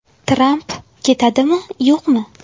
Tramp ketadimi, yo‘qmi?